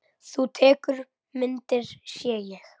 Þú tekur myndir, sé ég.